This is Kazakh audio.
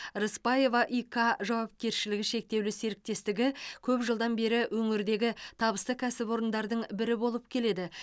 рысбаева и к жауапкершілігі шектеулі серіктестігі көп жылдан бері өңірдегі табысты кәсіпорындардың бірі болып келеді